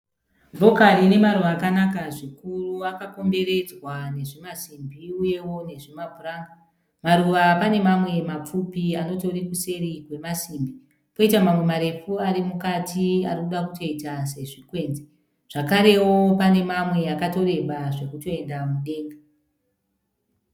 Rokari inemaruva akanaka zvikuru akakomberedzwa nezvimasimbi uyewo nezvimapuranga. Maruva pane mamwe mapfupi anotori kuseri kwemasimbi. Poita mamwe marefu arimukati arikuda kutoita sezvikwenzi. Zvakarewo panemamwe akatoreba zvekutoenda mudenga.